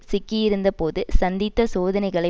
சிக்கியிருந்த போது சந்தித்த சோதனைகளை